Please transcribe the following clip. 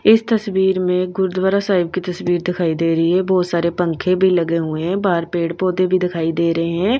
इस तस्वीर में गुरुद्वारा साहिब की तस्वीर दिखाई दे रही है बहुत सारे पंखे भी लगे हुए हैं बाहर पेड़-पौधे भी दिखाई दे रहे हैं।